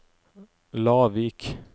Lavik